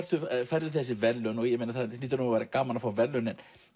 færðu þessi verðlaun og það hlýtur að vera gaman að fá verðlaun